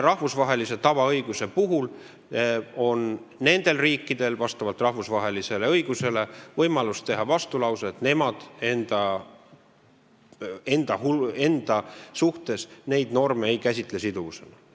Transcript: Rahvusvahelise tavaõiguse puhul on riikidel rahvusvahelise õiguse järgi võimalus esitada vastulause, et nemad enda suhtes neid norme siduvusena ei käsitle.